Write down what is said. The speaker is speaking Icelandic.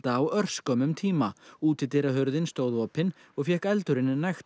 á örskömmum tíma útidyrahurðin stóð opin og fékk eldurinn nægt